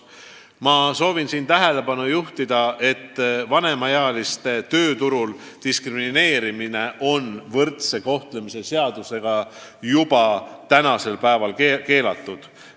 " Ma soovin tähelepanu juhtida, et vanemaealiste tööturul diskrimineerimine on võrdse kohtlemise seadusega juba praegu keelatud.